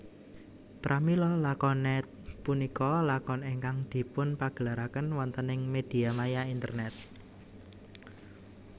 Pramila lakonet punika lakon ingkang dipunpagelaraken wontening mediamaya internet